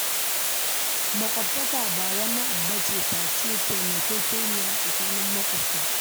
Maƙwataka ba wani abu ba ce face taimakekeniya a tsakanin maƙwabta